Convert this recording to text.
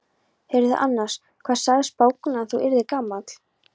Heyrðu annars, hvað sagði spákonan að þú yrðir gamall?